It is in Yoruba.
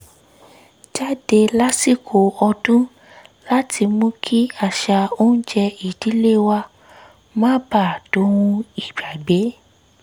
jáde lásìkò ọdún láti mú kí àṣà oúnjẹ ìdílé wa má baà dohun ìgbàgbé